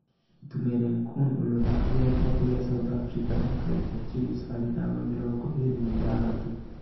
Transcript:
Itumeleng Khune ũria ũthakagira kĩravũkĩa South Africa na Kaizer Chiefs arĩ namba mĩrongo ĩĩrĩ na ithathatũ